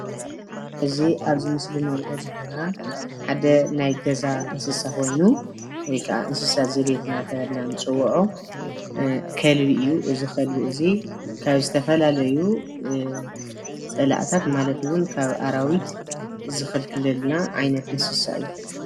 እዚ ኣብዚ ምስሊ ንሪኦ ዘለና ሓደ ናይ ገዛ እንስሳ ኾይኑ ወይ ከዓ እንስሳ ዘቤት እናተባህለ ንፅውዖ ከልቢ እዩ፡፡ እዚ ከልቢ እዚ ንዝተፈላለዩ ፀላእታት ማለት እውን ካብ ኣራዊት ዝኽልክለልና ዓይነት እንስሳ እዩ፡፡